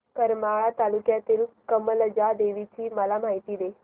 करमाळा तालुक्यातील कमलजा देवीची मला माहिती दे